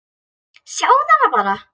Sjáðu hana bara!